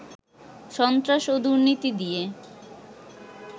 সন্ত্রাস ও দুর্নীতি দিয়ে